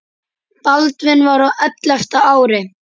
Baldvin var á ellefta ári.